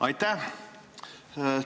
Aitäh!